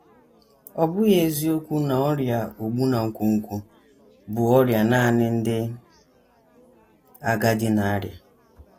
Ọ bụghị eziokwu na ọrịa ogbu na nkwonkwo bụ ọrịa nanị ndị agadi na - arịa.